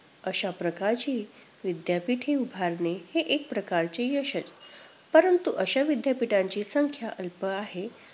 अशाप्रकारची विद्यापीठे उभारणे हे एक प्रकारचे यश आहे. परंतु अशा विद्यापीठांची संख्या अल्प आहे.